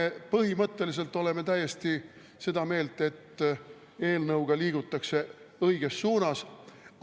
Me põhimõtteliselt oleme täiesti seda meelt, et eelnõuga liigutakse õiges suunas.